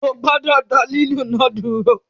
O gbọdọ da lilu náà duro!